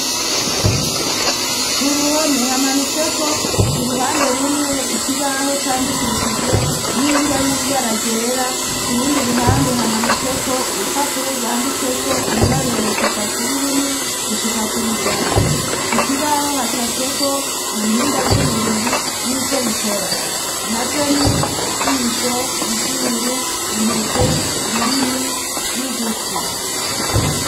Ku ruhome hamanitseko ku ruhande rumwe, ikibaho candikishijwe n'ingwa y'ibara ryera, kurundi ruhande hamanitseko urupapuro rwanditseko ibiharuro kuva kuri rimwe gushika kwijana. Ku kibaho hacafyeko ibihimba vy'umubiri n'ico bikora. Navyo ni ijisho, izuru, intoke, ururimi n'ugutwi.